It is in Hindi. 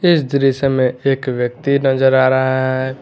इस दृश्य में एक व्यक्ति नजर आ रहा है।